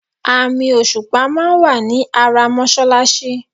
Àmì òṣùpà máa wà ní ara mọ́ṣáláṣí.